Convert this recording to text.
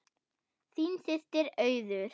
Þín systir, Auður.